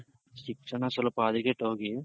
ಶಿಕ್ಷಣ ಸ್ವಲ್ಪ ಹದಗೆಟ್ಹೋಗಿ